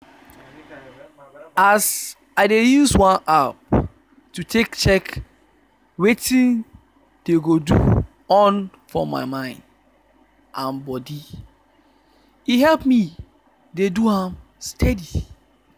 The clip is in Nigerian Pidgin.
as i dey use one app to take check wetin dey go on for my mind and body e help me dey do am steady.